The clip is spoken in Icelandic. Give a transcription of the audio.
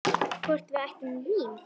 Hvort við ættum vín?